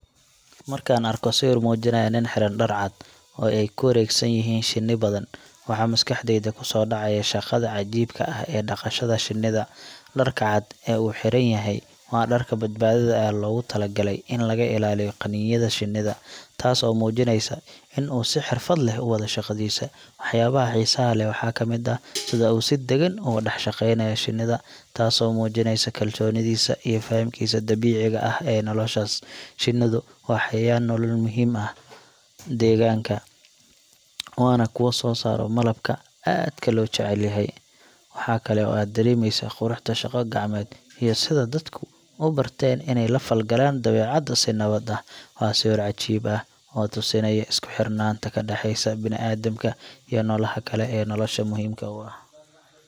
Markaan arko sawir muujinaya nin xiran dhar cad oo ay ku wareegsan yihiin shinni badan, waxaa maskaxdayda ku soo dhacaya shaqada cajiibka ah ee dhaqashada shinnida. Dharka cad ee uu xiran yahay waa dharka badbaadada ee loogu talagalay in laga ilaaliyo qaniinyada shinnida, taas oo muujinaysa in uu si xirfad leh u wado shaqadiisa. Waxyaabaha xiisaha leh waxaa ka mid ah sida uu si deggan ugu dhex shaqeynayo shinnida, taasoo muujinaysa kalsoonidiisa iyo fahamkiisa dabiiciga ah ee noolahaas. Shinnidu waa xayawaan nolol muhiim u ah deegaanka, waana kuwa soo saara malabka aadka loo jecel yahay. Waxaa kale oo aad dareemaysaa quruxda shaqo gacmeed iyo sida dadku u barteen inay la falgalaan dabeecadda si nabad ah. Waa sawir cajiib ah oo tusinaya isku xirnaanta ka dhaxaysa bini’aadamka iyo noolaha kale ee nolosha muhiimka u ah.